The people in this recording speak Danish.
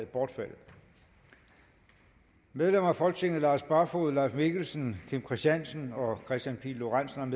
bortfaldet medlemmer af folketinget lars barfoed leif mikkelsen kim christiansen og kristian pihl lorentzen